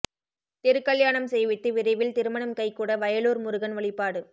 திருக்கல்யாணம் செய்வித்து விரைவில் திருமணம் கை கூட வயலூர் முருகன் வழிபாடு